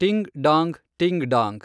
ಟಿಂಗ್ ಡಾಂಗ್ ಟಿಂಗ್ ಡಾಂಗ್.